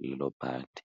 lelo bhadi.